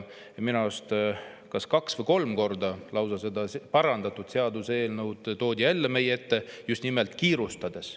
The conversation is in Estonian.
Minu arust on lausa kaks või kolm korda parandatud seaduseelnõu toodud jälle meie ette, just nimelt kiirustades.